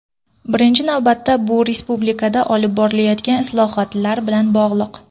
Birinchi navbatda bu respublikada olib borilayotgan islohotlar bilan bog‘liq.